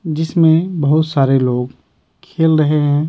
जिसमें बहुत सारे लोग खेल रहे हैं।